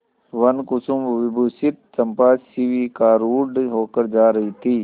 वनकुसुमविभूषिता चंपा शिविकारूढ़ होकर जा रही थी